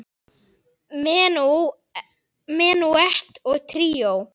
Menúett og tríó